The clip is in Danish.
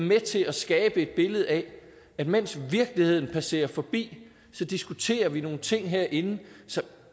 med til at skabe et billede af at mens virkeligheden passerer forbi diskuterer vi nogle ting herinde som